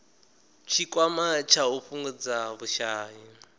tshikwama tsha u fhungudza vhushai